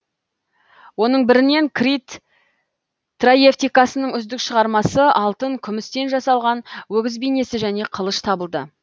оның бірінен крит торевтикасының үздік шығармасы алтын күмістен жасалған өгіз бейнесі және қылыш табылды